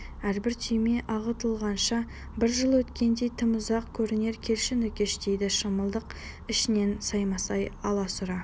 әрбір түйме ағытылғанша бір жыл өткендей тым ұзақ көрінер келші нүкеш дейді шымылдық ішінен саймасай аласұра